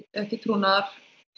ekki trúnaðar